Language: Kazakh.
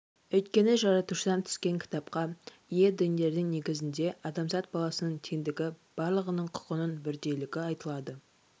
өйткені жаратушыдан түскен кітапқа ие діндердің негізінде адамзат баласының теңдігі барлығының құқының бірдейлігі айтылады